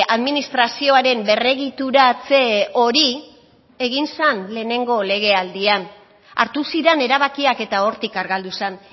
administrazioaren berregituratze hori egin zen lehenengo legealdian hartu ziren erabakiak eta hortik argaldu zen